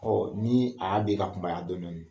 ni a y'a den ka kunbaya dɔni dɔni